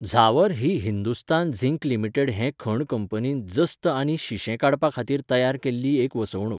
झावर ही Hindustan zinc limited हे खण कंपनीन जस्त आनी शिंशें काडपाखातीर तयार केल्ली एक वसणूक.